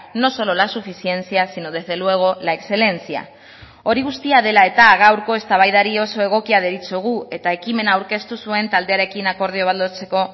no solo la suficiencia sino desde luego la excelencia hori guztia dela eta gaurko eztabaidari oso egokia deritzogu eta ekimena aurkeztu zuen taldearekin akordio bat lortzeko